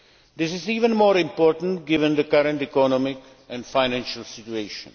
This is even more important given the current economic and financial situation.